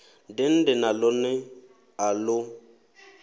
dende na ḽone a ḽo